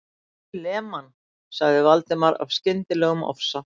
Ég lem hann.- sagði Valdimar af skyndilegum ofsa